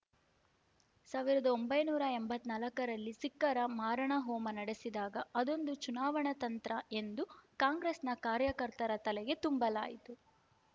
ಸಾವಿರದ ಒಂಬೈನೂರ ಎಂಬತ್ತ್ ನಾಲ್ಕರಲ್ಲಿ ಸಿಖ್ಖರ ಮಾರಣಹೋಮ ನಡೆಸಿದಾಗ ಅದೊಂದು ಚುನಾವಣಾ ತಂತ್ರ ಎಂದು ಕಾಂಗ್ರೆಸ್‌ನ ಕಾರ್ಯಕರ್ತರ ತಲೆಗೆ ತುಂಬಲಾಯಿತು